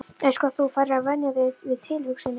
Eins gott þú farir að venja þig við tilhugsunina.